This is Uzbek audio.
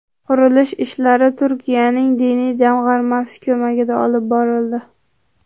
Qurilish ishlari Turkiyaning Diniy jamg‘armasi ko‘magida olib borildi.